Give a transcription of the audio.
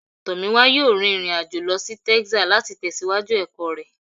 Tomiwa yọọ rín irín-ajọ̀ lọ sí Texas, lati lọ tẹsiwaju ẹkọ rẹ.